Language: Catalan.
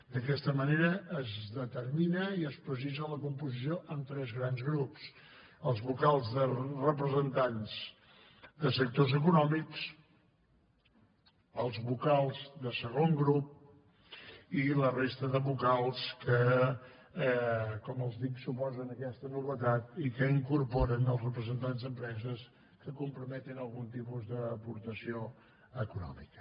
d’aquesta manera es determina i es precisa la composició en tres grans grups els vocals representants de sectors econòmics els vocals de segon grup i la resta de vocals que com els dic suposen aquesta novetat i que incorporen els representants d’empreses que comprometin algun tipus d’aportació econòmica